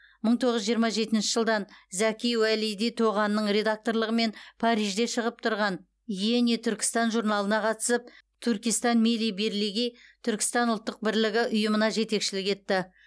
мың тоғыз жүз жиырма жетінші жылдан зәки уәлиди тоғанның редакторлығымен парижде шығып тұрған иени түркістан журналына қатысып туркестан милли бирлиги түркістан ұлттық бірлігі ұйымына жетекшілік етті